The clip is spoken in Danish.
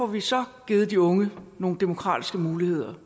vi så får givet de unge nogle demokratiske muligheder